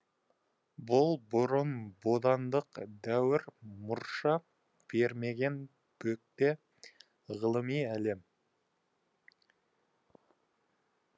бұл бұрын бодандық дәуір мұрша бермеген бөгде ғылыми әлем